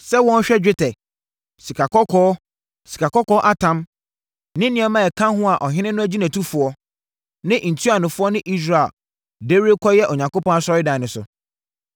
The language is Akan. sɛ wɔnhwɛ dwetɛ, sikakɔkɔɔ, sikakɔkɔɔ atam ne nneɛma a ɛka ho a ɔhene no nʼagyinatufoɔ, ne ntuanofoɔ ne Israelfoɔ de rekɔkyɛ Onyankopɔn asɔredan no so.